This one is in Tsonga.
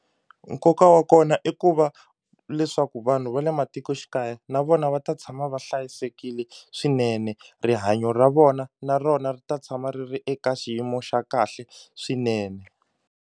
Nkoka wa kona i ku va leswaku vanhu va le matikoxikaya na vona va ta tshama va hlayisekile swinene rihanyo ra vona na rona ri ta tshama ri ri eka xiyimo xa kahle swinene.